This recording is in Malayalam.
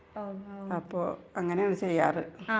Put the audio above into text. അപ്പോ അങ്ങനെ ആണ് ചെയ്യാറ് .